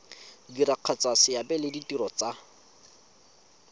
diragatsa seabe le ditiro tsa